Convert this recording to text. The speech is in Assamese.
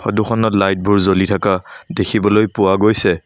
ফটো খনত লাইট বোৰ জ্বলি থাকা দেখিবলৈ পোৱা গৈছে।